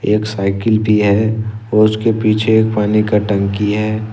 एक साइकिल भी है उसके पीछे पानी का टंकी है।